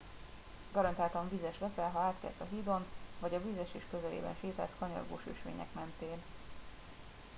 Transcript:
garantáltan vizes leszel ha átkelsz a hídon vagy a vízesés közelében sétálsz kanyargós ösvények mentén